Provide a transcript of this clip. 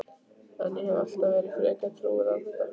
En ég hef alltaf verið frekar trúuð á þetta.